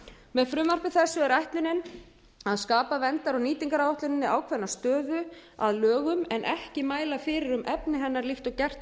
með frumvarpi þessu er ætlunin að skapa verndar og nýtingaráætluninni ákveðna stöðu að lögum en ekki mæla fyrir um efni hennar líkt og gert